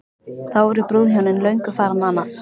Þá voru brúðhjónin löngu farin annað.